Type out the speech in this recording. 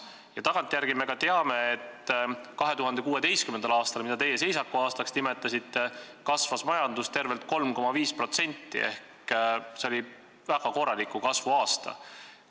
Ja tagantjärele me teame, et 2016. aastal, mida teie seisakuaastaks nimetasite, kasvas majandus tervelt 3,5% ehk see oli väga korraliku kasvu aasta.